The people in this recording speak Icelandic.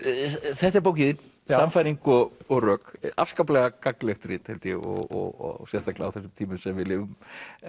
þetta er bókin þín sannfæring og og rök afskaplega gagnlegt rit held ég og sérstaklega á þessum tímum sem við lifum